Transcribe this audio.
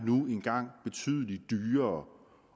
nu engang betydelig dyrere